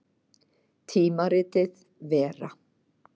Tímaritið Vera.